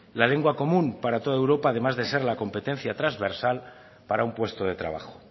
la lengua común para toda europa además de ser la competencia transversal para un puesto de trabajo